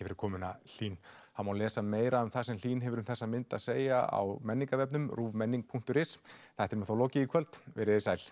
fyrir komuna Hlín það má lesa meira um það sem Hlín hefur um þessa mynd að segja á menningarvefnum ruvmenning punktur is þættinum er þá lokið í kvöld verið þið sæl